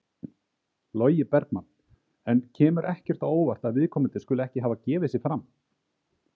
Logi Bergmann: En kemur ekkert á óvart að viðkomandi skuli ekki hafa gefið sig fram?